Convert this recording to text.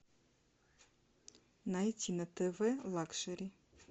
найти на тв лакшери